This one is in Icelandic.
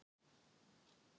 Ég er að spá.